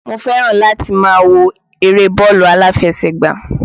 Mo fẹ́ràn láti máa wo eré bọ́ọ̀lù aláfẹsẹ̀gbá